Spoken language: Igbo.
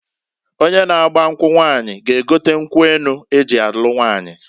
Onye na agba nkwu nwaanyi g'egote nkwu enu eji alu nwaanyi.